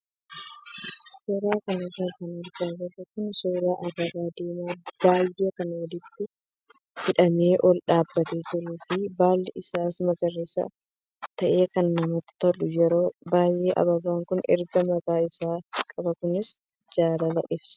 Suuraa kanarra kan argaa jirru kun suuraa ababaa diimaa baay'ee kan walitti hidhamee ol dhaabbatee jiruu fi baalli isaas magariisa ta'ee kan namatti toludha. Yeroo baay'ee ababaan kun ergaa mataa isaa qaba kunis jaalala ibsa.